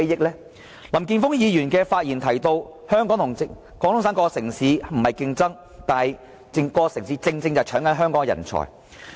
林健鋒議員的發言提到，香港和廣東省各城市並非競爭，但是各個城市正好在搶奪香港的人才。